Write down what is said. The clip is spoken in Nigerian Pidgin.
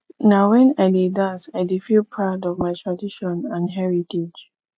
na wen i dey dance i dey feel proud of my tradition and heritage